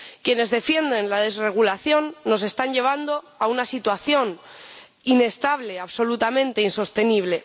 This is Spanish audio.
Quienes defienden la desregulación nos están llevando a una situación inestable, absolutamente insostenible.